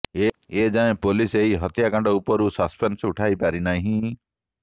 ଏଯାଏଁ ପୋଲିସ ଏହି ହତ୍ୟାକାଣ୍ଡ ଉପରୁ ସସ୍ପେନ୍ସ ଉଠାଇ ପାରିନାହିଁ